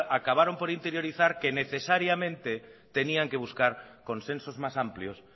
acabaron por interiorizar que necesariamente tenían que buscar consensos más amplios